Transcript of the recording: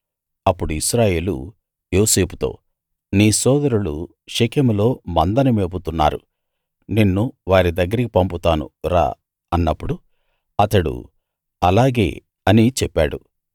అప్పుడు ఇశ్రాయేలు యోసేపుతో నీ సోదరులు షెకెములో మందను మేపుతున్నారు నిన్ను వారి దగ్గరికి పంపుతాను రా అన్నప్పుడు అతడు అలాగే అని చెప్పాడు